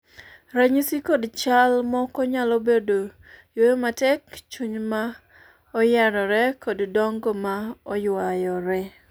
ranyisi kod chal moko nyalo bedo yueyo matek, chuny ma oyayore kod dongo ma oywayore